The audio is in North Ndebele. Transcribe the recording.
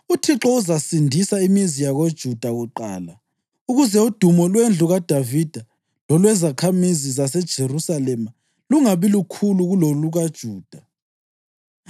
UThixo uzasindisa imizi yakoJuda kuqala ukuze udumo lwendlu kaDavida lolwezakhamizi zaseJerusalema lungabi lukhulu kulolukaJuda.